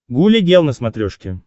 гуля гел на смотрешке